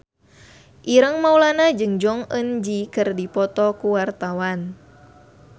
Ireng Maulana jeung Jong Eun Ji keur dipoto ku wartawan